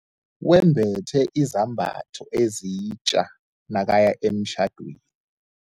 Wembethe izambatho ezitja nakaya emtjhadweni.